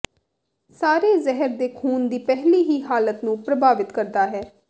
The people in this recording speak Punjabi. ਸਾਰੇ ਜ਼ਹਿਰ ਦੇ ਖੂਨ ਦੀ ਪਹਿਲੀ ਦੀ ਹਾਲਤ ਨੂੰ ਪ੍ਰਭਾਵਿਤ ਕਰਦਾ ਹੈ